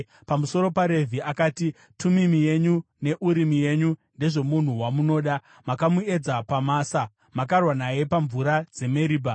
Pamusoro paRevhi akati, “Tumimi yenyu neUrimi yenyu ndezvomunhu wamunoda. Makamuedza paMasa; makarwa naye pamvura dzeMeribha.